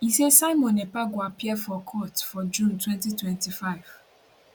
e saysimon ekpa go appear for court for june 2025